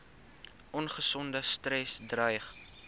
ongesonde stres dreig